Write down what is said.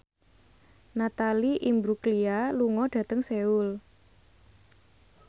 Natalie Imbruglia lunga dhateng Seoul